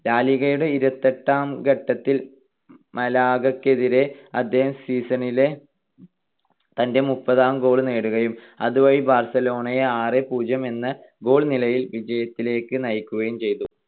ലാ ലിഗയുടെ ഇരുപത്തെട്ടാം ഘട്ടത്തിൽ മലാഗക്കെതിരെ അദ്ദേഹം season ലെ തന്റെ മുപ്പതാം goal നേടുകയും അതുവഴി ബാർസലോണയെ ആറ് - പൂജ്യം എന്ന goal നിലയിൽ വിജയത്തിലേക്ക് നയിക്കുകയും ചെയ്തു.